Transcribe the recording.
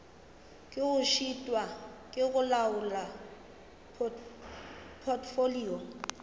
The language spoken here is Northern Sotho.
šitwa ke go laola potfolio